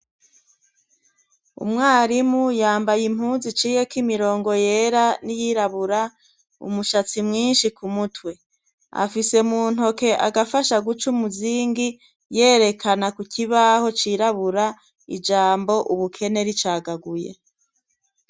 Umwarimu yambaye impunzu iciye ko imirongo yera n'iyirabura, umushatsi mwinshi ku mutwe, afise mu ntoke agafasha guca umuzingi yerekana ku kibaho cirabura ijambo ubukene ricagaguye.